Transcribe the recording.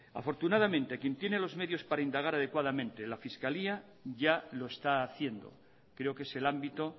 afortunadamente quien tiene los medios para indagar adecuadamente la fiscalía ya lo está haciendo creo que es el ámbito